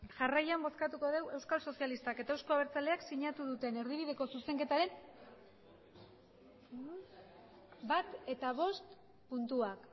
jarraian bozkatuko dugu euskal sozialistak eta euzko abertzaleak sinatu duten erdibideko zuzenketaren bat eta bost puntuak